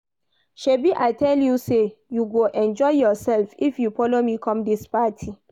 Shebi I tell you say you go enjoy yourself if you follow me come dis party